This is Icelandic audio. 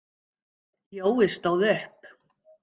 Jói stóð upp.